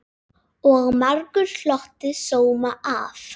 Og margur hlotið sóma af.